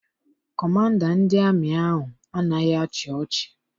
Kọmanda ndị amị ahụ anaghị achị ọchị.